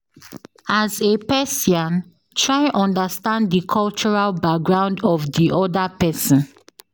As a Persian try understand di cultural background of di oda person